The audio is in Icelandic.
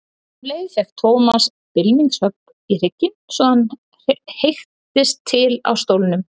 Um leið fékk Thomas bylmingshögg í hrygginn svo að hann heyktist til á stólnum.